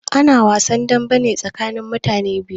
Ana wasn dambe ne tsakanin mutane biyu.